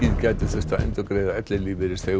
gæti þurft að endurgreiða ellilífeyrisþegum